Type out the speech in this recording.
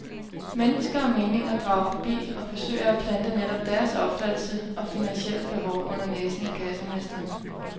Mennesker og meninger drager forbi og forsøger at plante netop deres opfattelse og finansielle behov under næsen af kassemesteren.